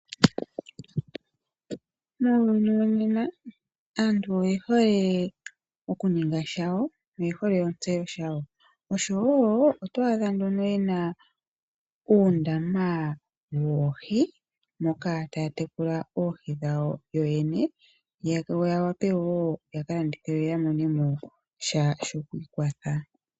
Muuyuni wonena aantu oyehole okuninga shawo yo oyehole otseyo yawo, oto adha nduno ena uundama woohi moka ta ya tekula oohi dhawo yoyene yawape woo yakalandithe yo yamone sha sho ku ikwatha.